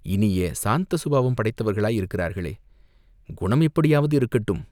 இனிய, சாந்த சுபாவம் படைத்தவர்களாயிருக்கிறார்களே, குணம் எப்படியாவது இருக்கட்டும்.